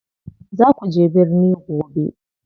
Za kuje birni gobe.